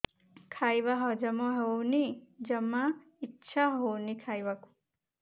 ଖାଇବା ହଜମ ହଉନି ଜମା ଇଛା ହଉନି ଖାଇବାକୁ